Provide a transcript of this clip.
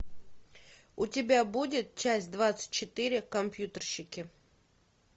у тебя будет часть двадцать четыре компьютерщики